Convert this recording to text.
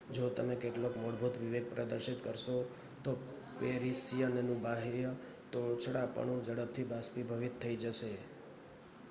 જો તમે કેટલોક મૂળભૂત વિવેક પ્રદર્શિત કરશો તો પેરિસિયનનું બાહ્ય તોછડાપણું ઝડપથી બાષ્પીભવીત થઈ જશે